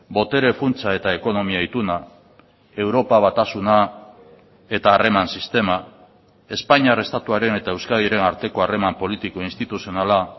botere funtsa eta ekonomia ituna europa batasuna eta harreman sistema espainiar estatuaren eta euskadiren arteko harreman politiko instituzionala